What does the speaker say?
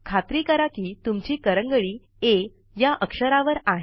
खात्री करा कि तुमची करंगळी आ या अक्षरावर आहे